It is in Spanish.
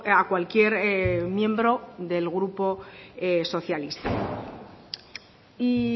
a cualquier miembro del grupo socialista y